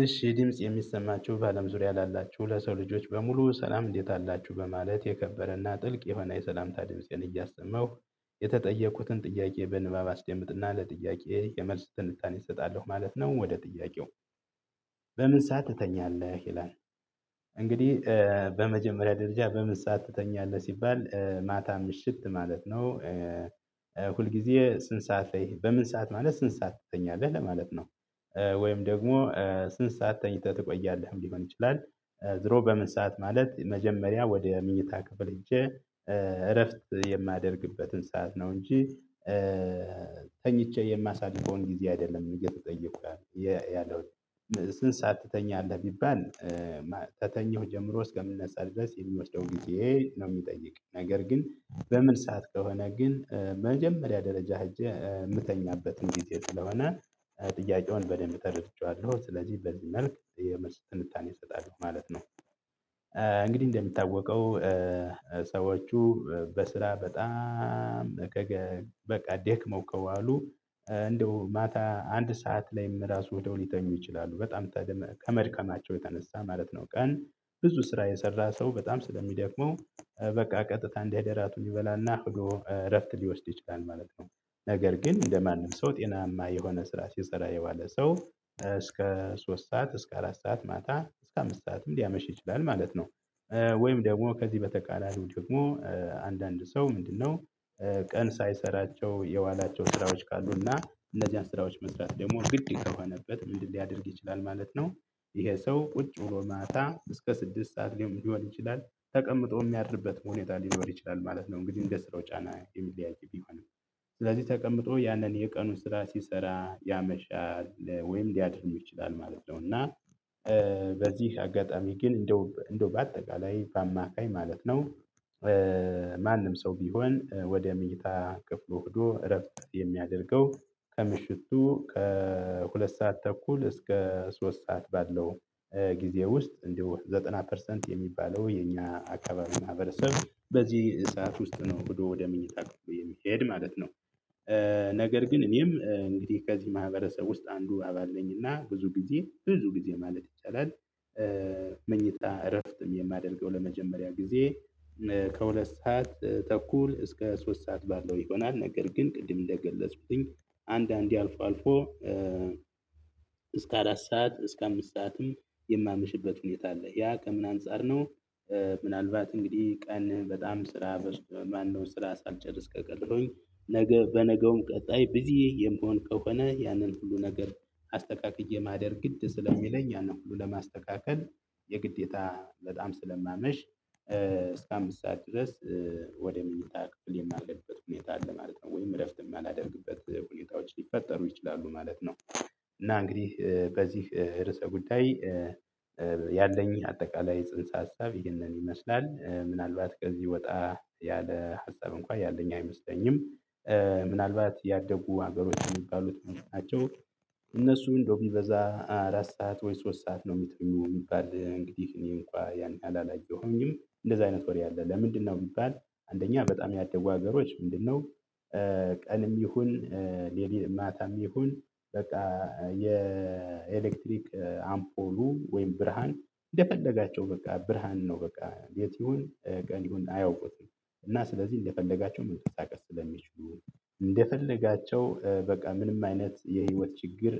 እሺ ድምጽ የሚሰማችሁ በአለም ዙሪያ ላላችሁ ለሰው ልጆች በሙሉ ሰላም እንዴት አላችሁ በማለት የከበረና ጥልቅ የሆነ የሰላምታ ድምፄን እያሰማሁ የተጠየኩትን ጥያቄ በንባብ አስደምጥና ለጥያቄዬ የመልስ ትንታኔ እሰጣለሁ ማለት ነው። ወደ ጥያቄው? በምን ሰዓት ትተኛለህ ይላል እንግዲህ በመጀመሪያ ደረጃ በምን ሰዓት ትተኛለህ ሲባል ማታ ምሽት ማለት ነው። ሁልጊዜ ስንት ሰዓት ላይ በምን ሰዓት ማለት ስንት ሰዓት ትተኛለህ ለማለት ነው። በምን ሰዓት ትተኛለህ ይላል? በመጀመሪያ ደረጃ በምን ሰዓት ትተኛለህ ሲባል ማታ ምሽት ማለት ነው። ሁልጊዜ ስንት ሰዓት ትተኛለህ በምን ሰዓት ማለት ስንት ሰዓት ትተኛለህ ለማለት ነው። ወይም ደግሞ ስንት ሰዓት ተኝተህ ትቆያለህ ሊሆን ይችላል። ድሮ በምን ሰዓት ማለት መጀመሪያ ወደ መኞታ ክፍል ገብቼ እረፍት የማደርግበትን ሰዓት ነው። እንጂ ከተኘሁ ጀምሮ እስከ ምነሳ ድረስ የሚወስደውን ጊዜ ነው የሚጠይቅ ነገር። ግን በምን ሰዓት ከሆነ ግን በመጀመሪያ ደረጃ ሄጄ የምተኛበትን ጊዜ ስለሆነ ጥያቄውን በደንብ ተረድቼዋለሁ። ስለዚህ በዚህ መልክ የመልስ ትንታን እሰጣለሁ ማለት ነው። እንግዲህ እንደሚታወቀው ሰዎቹ በስራ በጣም በቃ ደክመው ከዋሉ አሉ እንደው ማታ አንድ ሰዓት ላይም ራሱ ሄደው ሊተኙ ይችላሉ። በጣም ከመድከማቸው የተነሳ ማለት ነው። ቀን ብዙ ስራ የሰራ ሰው በጣም ስለሚደክመው በቃ ቀጥታ እደሄደ ራቱን ይበላና ሄዶ እረፍት ሊወስድ ይችላል ማለት ነው። ነገር ግን እንደማንም ሰው ጤናማ የሆነ ስራ ሲሰራ የዋለ ሰው እስከ ሶስት ሰዓት እስከ አራት ሰዓት ማታ እስከ አምስት ሰዓትም ሊያመሽ ይችላል ማለት ነው። ወይም ደግሞ ከዚህ በተቃራኒው ደግሞ አንዳንድ ሰው ምንድነው? ቀን ሳይሰራቸው የዋላቸው ስራዎች ካሉና እነዚያን ስራዎች መስራት ደግሞ ግድ ከሆነበት ምንድነው ሊያደርግ ይችላል ማለት ነው። ይሄ ሰው ቁጭ ብሎ ማታ እስከ ስድስት ሰዓት ሊሆን ይችላል ተቀምጦም የሚያድርበት ሁኔታ ሊኖር ይችላል ማለት ነው። እንግዲህ እንደ ስራው ጫና የሚለያይ ቢሆንም ስለዚህ ተቀምጦ ያንን የቀኑን ስራ ሲሰራ ያመሻል ወይም ሊያድርም ይችላል ማለት ነው። እና በዚህ አጋጣሚ ግን እንደው እንደው በአጠቃላይ በአማካኝ ማለት ነው። ማንም ሰው ቢሆን ወደ መኝታ ክፍሉ ሄዶ እረፍት የሚያደርገው ከምሽቱ ከሁለት ሰዓት ተኩል እስከ ሶስት ሰዓት ባለው ጊዜ ውስጥ እንዲያው ዘጠና ፐርሰንት የሚባለው የኛ አካባቢ ማህበረሰብ በዚህ ሰዓት ውስጥ ነው ሄዶ ወደ መኝታ ክፍሉ የሚሄድ ማለት ነው። ነገር ግን እኔም እንግዲህ ከዚህ ማህበረሰብ ውስጥ አንዱ አባል ነኝና ብዙ ጊዜ ብዙ ጊዜ ማለት ይቻላል። መኝታ እረፍት የማደርገው ለመጀመሪያ ጊዜ ከሁለት ሰዓት ተኩል እስከ ሶስት ሰዓት ባለው ይሆናል። ነገር ግን ቅድም እንደገለፅኩኝ አንዳንዴ አልፎ አልፎ እስከ አራት ሰዓት እስከ አምስት ሰዓትም የማመሽበት ሁኔታ አለ ያ ከምን አንፃር ነው? ምናልባት እንግዲህ ቀን በጣም ስራ በዝቶ ማነው ስራ ሳልጨርስ ከቀረሁኝ ነገ በነገውም ቀጣይ ብዚህ የምሆን ከሆነ ያንን ሁሉ ነገር አስተካክዬ ማደር ግድ ስለሚለኝ ያን ሁሉ ለማስተካከል የግዴታ በጣም ስለማመሽ እስከ አምስት ሰዓት ድረስ ወደ መኝታ ክፍል የማልገባበት ሁኔታ አለ ማለት ነው። ወይም እረፍት የማላደርግበት ሁኔታዎች ሊፈጠሩ ይችላሉ ማለት ነው። እና እንግዲህ በዚህ ርዕሰ ጉዳይ። ያለኝ አጠቃላይ ጽንሰ ሀሳብ ይህንን ይመስላል ምናልባት ከዚህ ወጣ ያለ ሀሳብ እንኳን ያለኝ አይመስለኝም። ምናልባት ያደጉ ሀገሮች የሚባሉት መልእክት ናቸው። እነሱ እንደው ቢበዛ አራት ሰዓት ወይ ሶስት ሰዓት ነው የሚተኙት የሚባል እንግዲህ እኔ እንኳን ያን ያህል አላየሁኝም እንደዛ አይነት ወሬ አለ። ለምንድነው ብባል አንደኛ በጣም ያደጉ ሀገሮች ምንድነው? ቀንም ይሁን ሌሊት ማታም ይሁን በቃ የኤሌክትሪክ አምፖሉ ወይም ብርሃን እንደፈለጉ በቃ ብርሃን ነው በቃ ሌሊት ይሁን ቀን ይሁን አያውቁትም። እና ስለዚህ እንደፈለጉ መንቀሳቀስ ስለሚችሉ እንደፈለጋቸው በቃ ምንም አይነት የህይወት ችግር